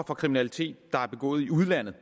for kriminalitet der er begået i udlandet